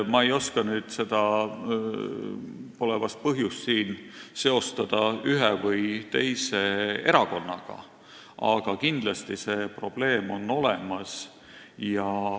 Ma ei oska nüüd seda seostada – pole vast põhjust – ühe või teise erakonnaga, aga kindlasti on selline probleem olemas.